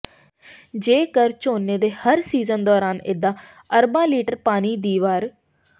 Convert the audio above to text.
ਜੇਕਰ ਝੋਨੇ ਦੇ ਹਰ ਸੀਜ਼ਨ ਦੌਰਾਨ ਏਦਾਂ ਅਰਬਾਂ ਲੀਟਰ ਪਾਣੀ ਦੀ ਵਰ